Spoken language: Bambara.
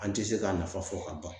An tɛ se k'a nafa fɔ ka ban.